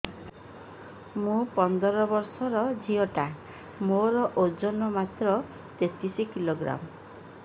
ମୁ ପନ୍ଦର ବର୍ଷ ର ଝିଅ ଟା ମୋର ଓଜନ ମାତ୍ର ତେତିଶ କିଲୋଗ୍ରାମ